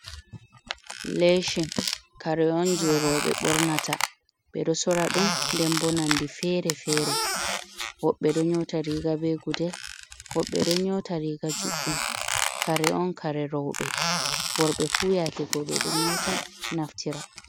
Lecin kare on je roɓe ɓornata, ɓe ɗo sora ɗum ndenbo nonde fere-fere, woɓɓe ɗo nyota riga be gudel, woɓɓe ɗo nyota riga juɗɗum, kare on kare roɓe worɓe fu yake go ɓe do nyota naftira.